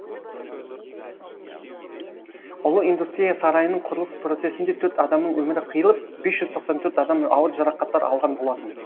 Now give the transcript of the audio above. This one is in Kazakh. ұлы индустрия сарайының құрылыс процесінде төрт адамның өмірі қиылып бес жүз тоқсан төрт адам ауыр жарақаттар алған болатын